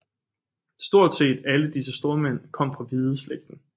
Stort set alle disse stormænd kom fra Hvideslægten